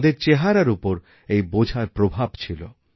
তাঁদের মুখে এইবোঝার ছাপ ছিল